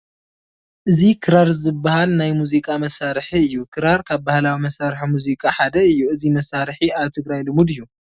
እዚ ክራር ዝበሃል ናይ ሙዚቃ መሳርሒ እዩ፡፡ ክራር ካብ ባህላዊ መሳርሒ ሙዚቃ ሓደ እዩ፡፡ እዚ መሳርሒ ኣብ ትግራይ ልሙድ እዩ፡፡